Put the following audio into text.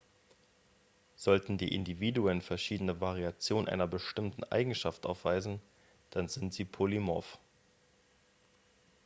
sollten die individuen verschiedene variationen einer bestimmten eigenschaft aufweisen dann sind sie polymorph